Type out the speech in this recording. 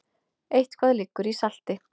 Eitthvað liggur í salti